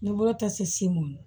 Ni bɔrɔta semu ye